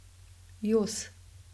Jos.